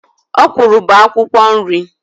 Okwụrụ bụ akwukwo nri.